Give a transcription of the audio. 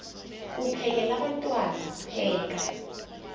uphekel abantwana pheka